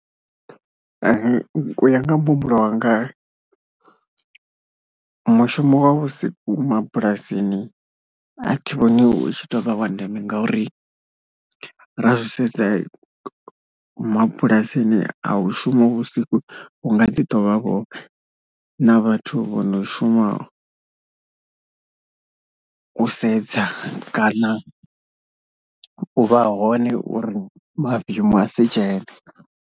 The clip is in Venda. U ya nga muhumbulo wanga mushumo wa vhusiku mabulasini a thi vhoni u tshi tou vha wa ndeme ngauri ra zwi sedza mabulasini a hu shumiwi vhusiku, hu nga ḓi tou vhavho na vhathu vho no shuma u sedza kana u vha hone uri mavemu a si dzhene.